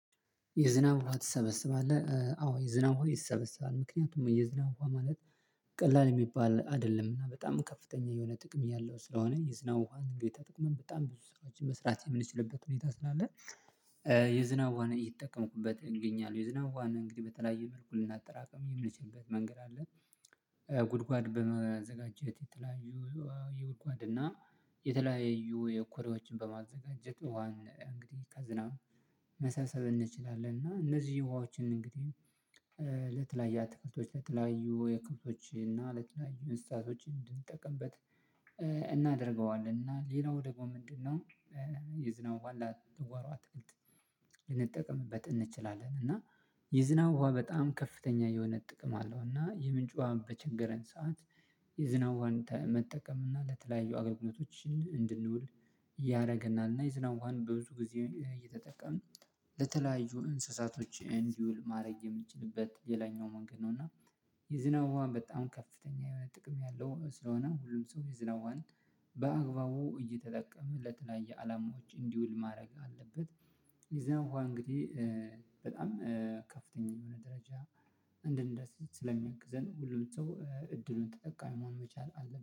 የዝናብ ውሃ ትሰበስባለህ? አዎ የዝናብ ውሃ ይሰበሰባል። ምክንያቱም የዝናብ ውሃ ማለት ቀላል የሚባል አይደለም። እና በጣም ከፍተኛ የሆነ ጥቅም ያለው ስለሆነ የዝናብ ውሃ ተጠቅመን በጣም ብዙ ስራዎችን መስራት የምንችልበት ሁኔታ ስላለ የዝናብ ውሃን እየተጠቀምኩበት እገኛለሁ። የዝናብ ውሃን እንግዲህ በተለያየ መልኩ ልናጠራቅም የምንችልበት መንገድ አለ። ጉድጓድ በማዘጋጀት የተለያዩ የጉድጓድ እና የተለያዩ የኮሬዎችን በማዘጋጀት ውሃን እንግዲህ ከዝናብ መሰብሰብ እንችላለን። እና እነዚህ ውሃዎችን እንግዲህ ለተለያዩ አትክልቶች ለተለያዩ የከብቶች እና ለተለያዩ እንስሳቶች እንድንጠቀምበት እናደርገዋለን። እና ሌላው ደግሞ ምንድነው የዝናብ ውሃን ለአትክልት ለጓሮ አትክልት ልንጠቅምበት እንችላለን። እና የዝናብ ውሃ በጣም ከፍተኛ የሆነ ጥቅም አለው። እና የምንጭ ውሃ በቸገረን ሰዓት የዝናብ ውሃን መጠቀም እና ለተለያዩ አገልግሎቶች እንድንውል ያደርገናል። እና የዝናብ ውሃን በብዙ ጊዜ እየተጠቀምን ለተለያዩ እንስሳቶች እንዲውል ማድረግ የምትችልበት ሌላኛው መንገድ ነው። እና የዝናብ ውሃን በጣም ከፍተኛ የሆነ ጥቅም ያለው ስለሆነ ሁሉም ሰው ይዝናብ ውሃን በአግባቡ እየተጠቀመ ለተለያየ አላማዎች እንዲውል ማድረግ አለበት። የዝናብ ውሃን እንግዲህ በጣም ከፍተኛ የሆነ ደረጃ እንድንደርስ ስለሚያግዘን ሁሉም ሰው እድሉን ተጠቃሚ መሆን መቻል አለብት።